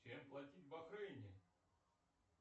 чем платить в бахрейне